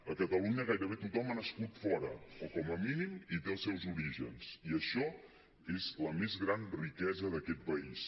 a catalunya gairebé tothom ha nascut fora o com a mínim hi té els seus orígens i això és la més gran riquesa d’aquest país